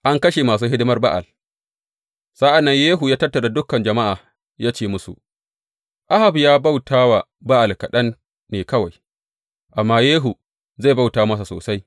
An kashe masu hidimar Ba’al Sa’an nan Yehu ya tattara dukan jama’a ya ce musu, Ahab ya bauta wa Ba’al kaɗan ne kawai; amma Yehu zai bauta masa sosai.